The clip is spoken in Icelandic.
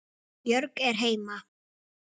Björg er heima.